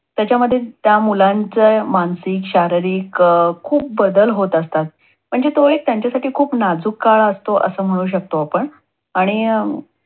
त्याच्यामध्ये त्या मुलाचं मानसिक, शारीरिक, अं खूप बदल होत असतात म्हणजे तो एक त्यांच्यासाठी एक खूप नाजूक काळ असतो. अस म्हणू शकतो आपण. आणि